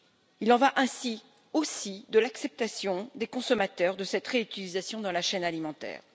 Il en va ainsi, aussi, de l'acceptation par les consommateurs de cette réutilisation dans la chaîne alimentaire.